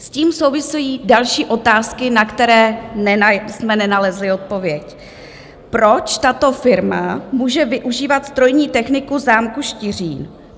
S tím souvisejí další otázky, na které jsme nenalezli odpověď: Proč tato firma může využívat strojní techniku zámku Štiřín?